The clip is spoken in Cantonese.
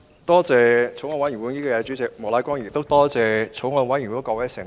多謝法案委員會主席莫乃光議員，亦感謝法案委員會的各位成員。